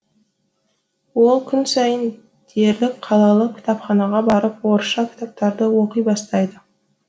ол күн сайын дерлік қалалық кітапханаға барып орысша кітаптарды оқи бастайды